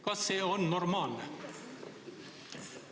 Kas see on normaalne?